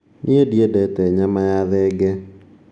Niĩ ndĩendete nyama ya thengee